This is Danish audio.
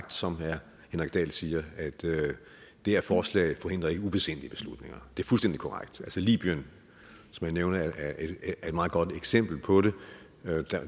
som herre henrik dahl siger at det her forslag ikke forhindrer ubesindige beslutninger det er fuldstændig korrekt altså libyen som jeg nævner er et meget godt eksempel på det